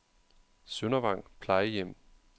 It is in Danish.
Søndervang Plejehjem